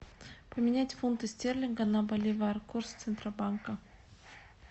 поменять фунты стерлинга на боливар курс центробанка